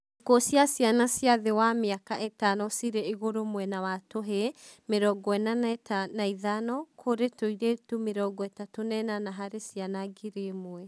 Ikuũ cia ciana cia thĩ wa mĩaka ĩtano cirĩ igũrũ mwena wa tũhĩĩ (45) kũrĩ tũirĩtu (38) harĩ ciana ngiri ĩmwe